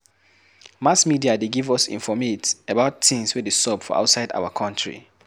Mass media dey give us informate about things wey dey sup for outside our country